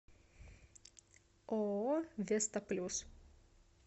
ооо веста плюс